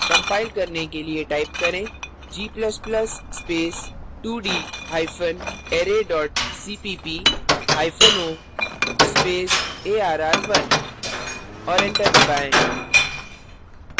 compile करने के लिए type करें g ++ space 2d hypen array dot cpp hyphen o space arr1 और enter दबाएँ